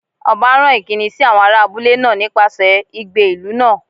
Ọba rán ìkíni sí àwọn ará abúlé náà nípasẹ̀ igbe ìlú náà